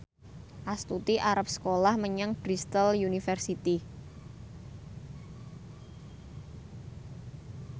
Astuti arep sekolah menyang Bristol university